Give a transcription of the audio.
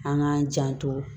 An k'an janto